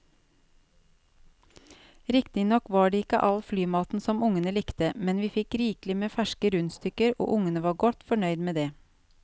Riktignok var det ikke all flymaten som ungene likte, men vi fikk rikelig med ferske rundstykker og ungene var godt fornøyd med det.